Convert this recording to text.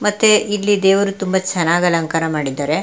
ಮತ್ತೆ ಇಲ್ಲಿ ದೇವರು ತುಂಬಾ ಚೆನ್ನಾಗಿ ಅಲಂಕಾರ ಮಾಡಿದ್ದಾರೆ.